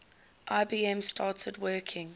ibm started working